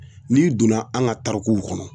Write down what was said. N'i donna an ka tarikuw kɔnɔ